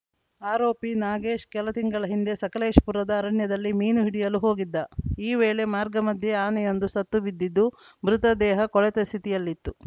ಆರೋಪಿ ನಾಗೇಶ್‌ ಕೆಲ ತಿಂಗಳ ಹಿಂದೆ ಸಕಲೇಶಪುರದ ಅರಣ್ಯದಲ್ಲಿ ಮೀನು ಹಿಡಿಯಲು ಹೋಗಿದ್ದ ಈ ವೇಳೆ ಮಾರ್ಗ ಮಧ್ಯೆ ಆನೆಯೊಂದು ಸತ್ತು ಬಿದ್ದಿದ್ದು ಮೃತ ದೇಹ ಕೊಳೆತ ಸ್ಥಿತಿಯಲ್ಲಿತ್ತು